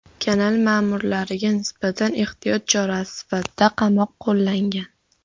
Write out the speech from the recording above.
Kanal ma’murlariga nisbatan ehtiyot chorasi sifatida qamoq qo‘llangan.